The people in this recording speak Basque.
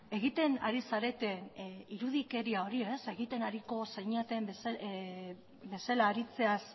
egiten ari zareten irudikeria hori egiten ariko zinaten bezala haritzeaz